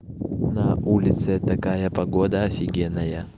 на улице такая погода офигенная